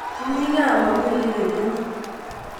Kimi kaa mami olekependi